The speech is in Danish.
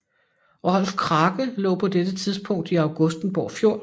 Rolf Krake lå på dette tidspunkt i Augustenborg Fjord